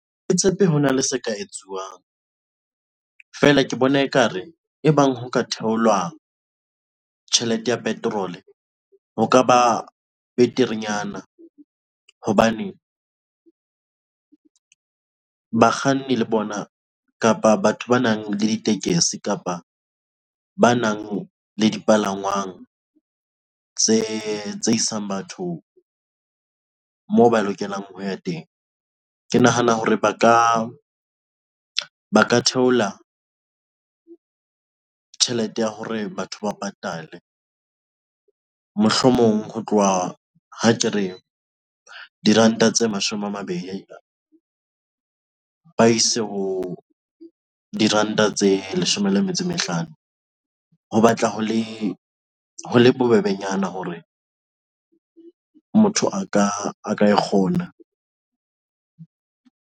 Ha ke tshepe hona le se ka etsuwang fela ke bona e ka re e bang ho ka theolwa tjhelete ya petrol ho ka ba beterenyana hobane bakganni le bona kapa batho ba nang le ditekesi kapa ba nang le dipalangwang tse isang batho mo ba lokelang ho ya teng. Ke nahana hore ba ka theola tjhelete ya hore batho ba patale. Mohlomong ho tloha ha ke re diranta tse mashome a mabedi ba ise ho diranta tse leshome le metso e mehlano. Ho batla ho le bobebenyana hore motho a ka e kgona.